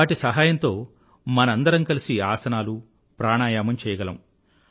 వాటి సహాయంతో మనందరం కలిసి ఆసనాలూ ప్రాణాయామం చెయ్యగలము